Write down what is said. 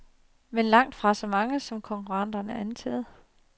Men langtfra så mange, som konkurrenten antager.